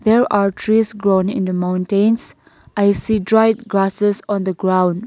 there are trees grown in the mountains i see dried grasses on the ground.